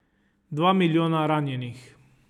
Dva milijona ranjenih.